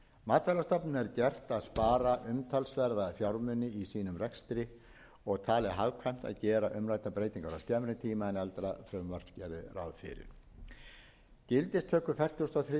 matvælastofnun er gert að spara umtalsverða fjármuni í sínum rekstri og talið hagkvæmt að að gera umræddar breytingar á skemmri tíma en eldra frumvarp gerði ráð fyrir gildistöku fertugasta og þriðju greinar frumvarpsins